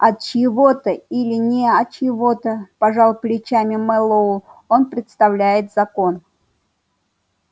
от чьего-то или не от чьего-то пожал плечами мэллоу он представляет закон